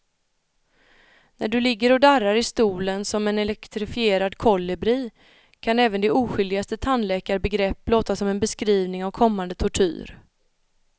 När du ligger och darrar i stolen som en elektrifierad kolibri kan även det oskyldigaste tandläkarbegrepp låta som en beskrivning av kommande tortyr.